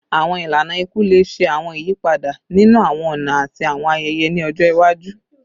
Awọn ilana iku le ṣe awọn iyipada ninu awọn ọna ati awọn ayẹyẹ ni ọjọ iwaju